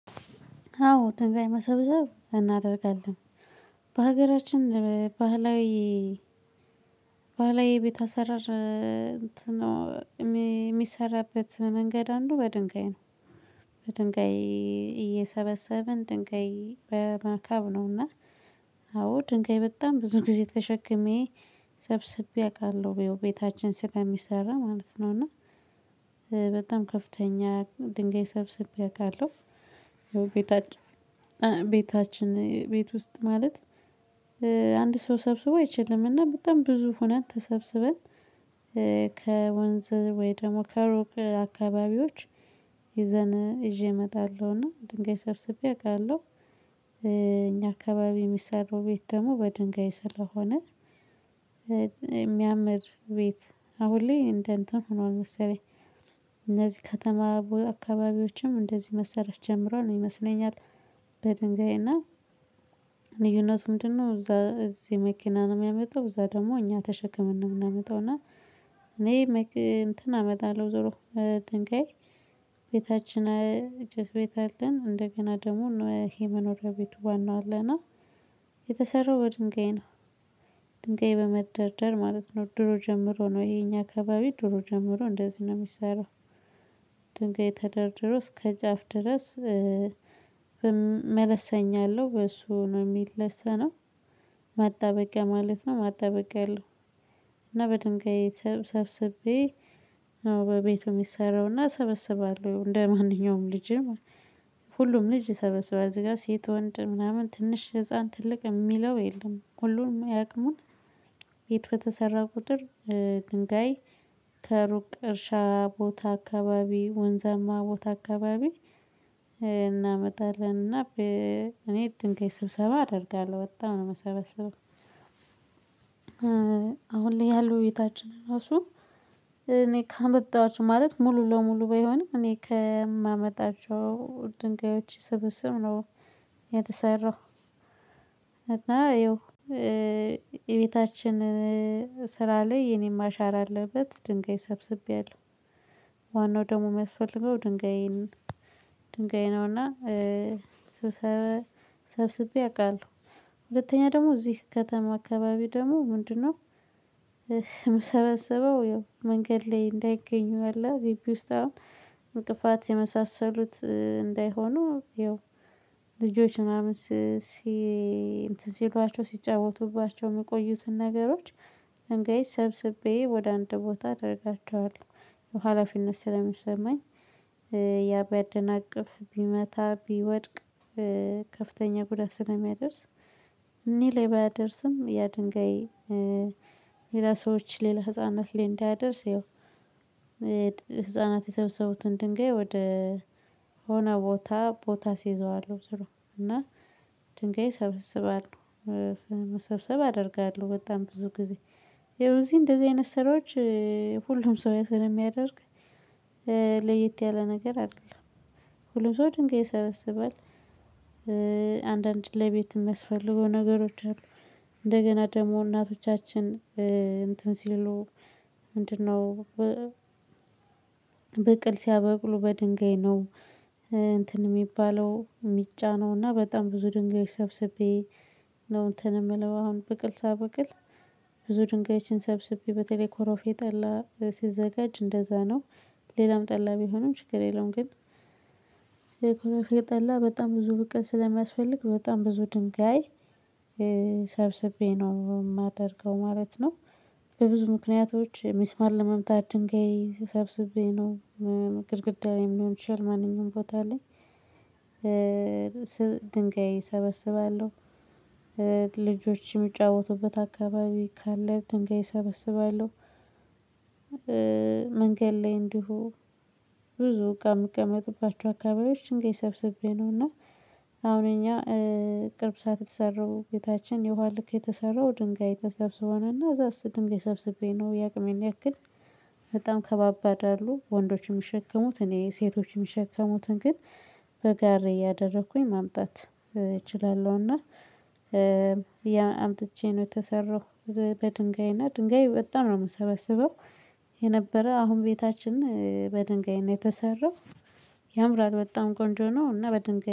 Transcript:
አዎ ደንጋይ መሰብሰብ እናደርጋለን። በሀገራችን በባህላዊ የቤት አሰረር የሚሰራበት መንገድ አንዱ በድንጋይ ነው። በድንገይ እየሰበሰብን ድንገይ በመካብ ነውና። አዎ ድንጋይ በጣም ብዙ ጊዜ ተሸክሜ ሰብስቤ አቃለሁ ቤታችን ስለሚሰራ ማለት ነው። እና በጣም ከፍተኛ ድንጋይ ሰብስቤ አቃለሁ። ይኸው ቤታችን ቤት ውስጥ ማለት አንድ ሰው ሰብስቦ አይችልም። እና በጣም ብዙ ሆነን ተሰብስበን ከወንዝ ወይ ደግሞ ከሩቅ አካባቢዎች ይዘን ይዤ እመጣለሁና ድንጋይ ሰብስቤ አቃለሁ። እኛ አካባቢ የሚሰሩ ቤት ደግሞ በድንጋይ ስለሆነ። የሚያምር ቤት አሁን ላይ እንደ እንትን ሆኗል መሰለኝ። እነዚህ ከተማ አካባቢዎችም እንደዚህ መሰራት ጀምሯል ይመስለኛል። በድንጋይና ልዩነቱ ምንድነው? እዛ እዚህ መኪና ነው የሚያመጣው እዛ ደግሞ እኛ ተሸክመን ነው የምናመጣው። እና እኔ እንትን አመጣለሁ ዞሮ ድንጋይ ቤታችን ጭስ ቤት አለን። እንደገና ደግሞ ይሄ መኖሪያ ቤቱ ዋናው አለና። የተሰራው በድንጋይ ነው ድንጋይ በመደርደር ማለት ነው። ድሮ ጀምሮ ነው የኛ አካባቢ ድሮ ጀምሮ እንደዚህ ነው የሚሰራው። ድንጋይ ተደርድሮ እስከ ጫፍ ድረስ መለሰኛ አለው በሱ ነው የሚለሰነው። ማጣበቂያ ማለት ነው ማጣበቂያ አለው። እና በድንጋይ ሰብ ሰብስቤ ነው በቤቱ የሚሰራው። እና ሰበስባለሁ እንደማንኛውም ልጅም ሁሉም ልጅ ይሰበስባል እዚህ ጋር ሴት ወንድ ምናምን ትንሽ ህፃን ትልቅ የሚለው የለም። ሁሉንም የአቅሙን ቤት በተሰራ ቁጥር ድንጋይ ከሩቅ እርሻ ቦታ አካባቢ ወንዘማ ቦታ አካባቢ። እናመጣለንና እኔ ድንጋይ ስብሰባ አደርጋለሁ ወጣሁ ነው የምሰበሰበው። አሁን ላይ ያሉ ቤታችን ራሱ እኔ ካመጣኋቸው ማለት ሙሉ ለሙሉ ባይሆንም እኔ ከማመጣቸው ድንጋዮች ስብስብ ነው። የተሰራው። እና ይኸው የቤታችን ስራ ላይ የኔንም አሻራ አለበት ድንጋይ ሰብስቤያለሁ። ዋናው ደግሞ የሚያስፈልገው ድንጋይን ድንጋይ ነውና። ስብሰባ ሰብስቤ አውቃለሁ። ሁለተኛ ደግሞ እዚህ ከተማ አካባቢ ደግሞ ምንድነው? የምሰበሰበው ያው መንገድ ላይ እንዳይገኙ አለ ግቢ ውስጥ አሁን እንቅፋት የመሳሰሉት እንዳይሆኑ ያው ልጆች ምናምን ሲ እንትን ሲሏቸው ሲጫወቱባቸው የሚቆዩትን ነገሮች። እንግዲህ ሰብስቤ ወደ አንድ ቦታ አደርጋቸዋለሁ ሀላፊነት ስለሚሰማኝ። ያ ቢያደናቅፍ ቢመታ ቢወድቅ። ከፍተኛ ጉዳይ ስለሚያደርስ። እኔ ላይ ባያደርስም ያ ድንጋይ ሌላ ሰዎች ሌላ ህፃናት ላይ እንዲያደርስ ይኸው። ህፃናት የሰበሰቡትን ድንጋይ ወደ ሆነ ቦታ ቦታ አሲይዘዋለሁ ዙሮ እና ድንጋይ ሰብስባለሁ። መሰብሰብ አደርጋለሁ በጣም ብዙ ጊዜ ይኸው እዚህ እንደዚህ አይነት ስራዎች ሁሉም ሰው ስለሚያደርግ። ለየት ያለ ነገር አይደለም። ሁሉም ሰው ድንጋይ ይሰበስባል። አንዳንድ ለቤት የሚያስፈልገው ነገሮች አሉ። እንደገና ደግሞ እናቶቻችን እንትን ሲሉ ምንድነው? በቅል ሲያበቅሉ በድንጋይ ነው። እንትን የሚባለው የሚጫነው እና በጣም ብዙ ድንጋይ ሰብስቤ ነው እንትን የምለው አሁን ብቅል ሳበቅል ብዙ ድንጋይችን ሰብስቤ በተለይ ኮሮፌ ጠላ ሲዘጋጅ እንደዛ ነው። ሌላም ጠላ ቢሆንም ችግር የለውም። ግን የኩሬፌ ጠላ በጣም ብዙ ብቅል ስለሚያስፈልግ በጣም ብዙ ድንጋይ። ሰብስቤ ነው የማደርገው ማለት ነው። በብዙ ምክንያቶች ሚስማር ለመምታት ድንጋይ ሰብስቤ ነው። ግድግዳ የሚሆን ይሻል ማንኛውም ቦታ ላይ። ድንጋይ እሰበስባለሁ። ልጆች የሚጫወቱበት አካባቢ ካለ ድንጋይ እሰበስባለሁ። መንገድ ላይ እንዲሁ ብዙ ከምቀመጥባቸው አካባቢዎች ድንጋይ ሰብስቤ ነው እና። አሁን እኛ ቅርብ ሰዓት የተሰሩ ቤታችን የውሃ ልክ የተሰራው ድንጋይ ተሰብስቦና እዛስ ድንጋይ ሰብስቤ ነው የአቅሜን ያክል። በጣም ከባባድ አሉ ወንዶችን የሚሸከሙት እኔ ሴቶችን የሚሸከሙትን ግን በጋሪ እያደረኩኝ ማምጣት እችላለሁና። አምጥቼ ነው የተሰራው። በድንጋይ እና ድንጋይ በጣም ነው የምሰበስበው። የነበረ አሁን ቤታችን በድንጋይ ነው የተሰራው። ያምራል በጣም ቆንጆ ነው። እና በድንጋይ